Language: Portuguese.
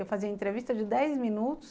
Eu fazia entrevista de dez minutos